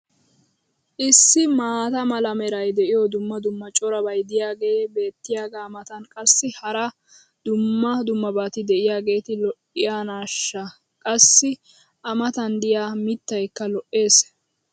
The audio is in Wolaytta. issi maata mala meray de'iyo dumma dumma corabay diyaagee beetiyaagaa matan qassi hara dumma dummabati de'iyageeti lo'iyoonaashsha! qassi a matan diya mitaykka lo'ees.